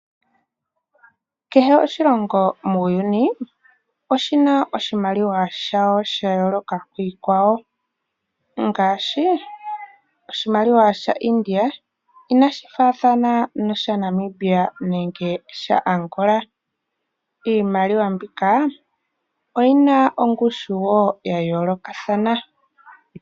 Kehe oshilongo muuyuni oshina oshimaliwa shasho sha yooloka kiikwawo ngaashi oshimaliwa sha India inashi faathana noshaNamibia nenge shaAngpla. Iimaliwa mbika oyina wo ongushu ya yoolokathana.